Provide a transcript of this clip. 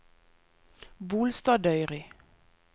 Bolstadøyri